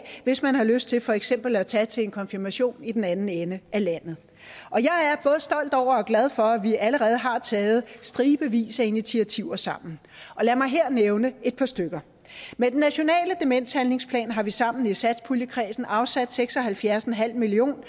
hvis man har lyst til for eksempel at tage til en konfirmation i den anden ende af landet og stolt over og glad for at vi allerede har taget stribevis af initiativer sammen og lad mig her nævne et par stykker med den nationale demenshandlingsplan har vi sammen i satspuljekredsen afsat seks og halvfjerds en halv million